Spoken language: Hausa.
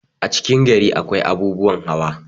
a cikin gari akwai abubuwan hawa